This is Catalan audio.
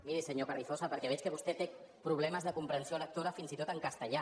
miri senyor carrizosa perquè veig que vostè té problemes de comprensió lectora fins i tot en castellà